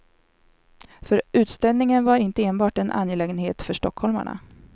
För utställningen var inte enbart en angelägenhet för stockholmarna.